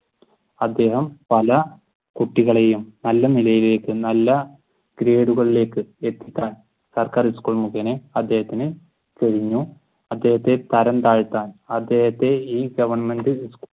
അദ്ദേഹം പല കുട്ടികളെയും നല്ല നിലയിലേക്ക് നല്ല ഗ്രേഡുകളിലേക്ക് എത്തിക്കാൻ സർക്കാർ സ്കൂൾ മുകേന അദ്ദേഹത്തിന് കഴിഞ്ഞു. അദ്ദേഹത്തെ തരം താഴ്ത്താൻ അദ്ദേഹത്തെ ഈ ഗവെർന്മെന്റ്